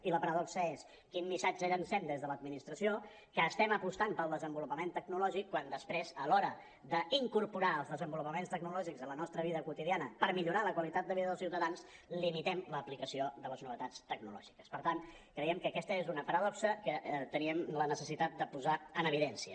i la paradoxa és quin missatge llencem des de l’administració que estem apostant pel desenvolupament tecnològic quan després a l’hora d’incorporar els desenvolupaments tecnològics a la nostra vida quotidiana per millorar la qualitat de vida dels ciutadans limitem l’aplicació de les novetats tecnològiques per tant creiem que aquesta és una paradoxa que teníem la necessitat de posar en evidència